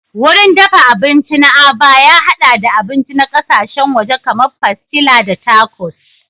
Wurin dafa abinci na Aba ya haɗa da abinci na ƙasashen waje kamar pastilla da tacos.